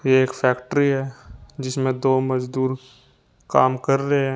ये एक फैक्ट्री है जिसमें दो मजदूर काम कर रहे हैं।